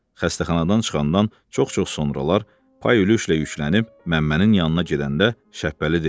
Xəstəxanadan çıxandan çox-çox sonralar paya yüklənib Məmmənin yanına gedəndə Şəbbəli deyirdi.